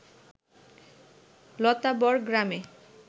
লতাবর গ্রামে